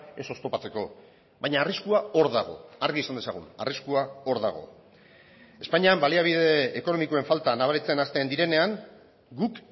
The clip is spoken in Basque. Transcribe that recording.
ez oztopatzeko baina arriskua hor dago argi esan dezagun arriskua hor dago espainian baliabide ekonomikoen falta nabaritzen hasten direnean guk